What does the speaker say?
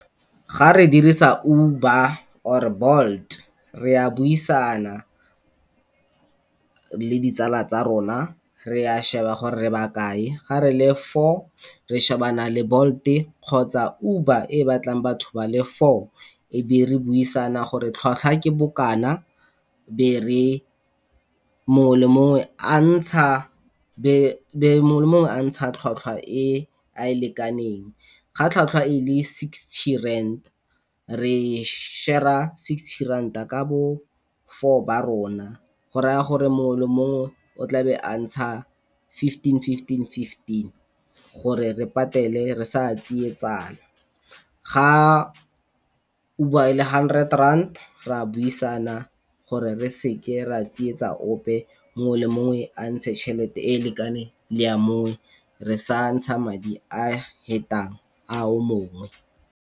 Ga re dirisa Uber or Bolt re a buisana le ditsala tsa rona, re a sheba gore ba kae ga re le four re shebana Bolt e kgotsa Uber e batlang batho ba le four e be re buisana gore tlhwatlhwa ke bokana be mongwe le mongwe a ntsha tlhwatlhwa e a lekaneng. Ga tlhwatlhwa e le sixty rand re share-a sixty ranta ka bo four ba rona, go raya gore mongwe le mongwe o tla be a ntsha fifteen-fifteen-fifteen gore re patele re sa tsietsana. Ga Uber e le hundred rand re a buisana gore re seke re a tsietsa ope mongwe le mongwe a ntshe chelete e lekane le a mongwe re sa ntsha madi a fetang a o mongwe.